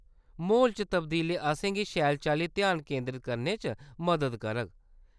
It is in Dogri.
म्हौल च तब्दीली असेंगी शैल चाल्ली ध्यान केंदरत करने च मदद करग।